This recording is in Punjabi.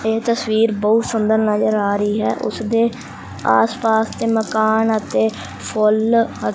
ਇਹ ਤਸਵੀਰ ਬਹੁਤ ਸੁੰਦਰ ਨਜ਼ਰ ਆ ਰਹੀ ਹੈ ਉਸਦੇ ਆਸ ਪਾਸ ਤੇ ਮਕਾਨ ਅਤੇ ਫੁੱਲ ਅ--